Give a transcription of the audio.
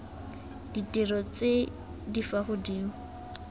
ditiro tse di fa godimo